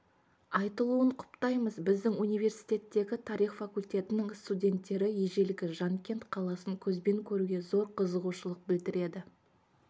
айтылуын құптаймыз біздің университеттегі тарих факультетінің студенттері ежелгі жанкент қаласын көзбен көруге зор қызығушылық білдіреді